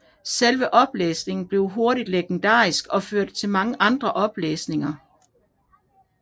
Selve oplæsningen blev hurtigt legendarisk og førte til mange andre oplæsninger